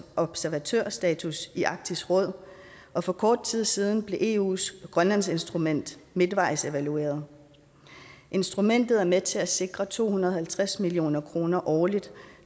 observatørstatus i arktisk råd og for kort tid siden blev eus grønlandsinstrument midtvejsevalueret instrumentet er med til at sikre to hundrede og halvtreds million kroner årligt